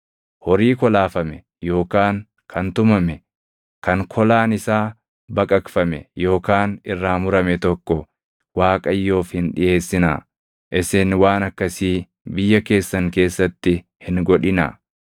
Horii kolaafame yookaan kan tumame, kan kolaan isaa baqaqfame yookaan irraa murame tokko Waaqayyoof hin dhiʼeessinaa; isin waan akkasii biyya keessan keessatti hin godhinaa;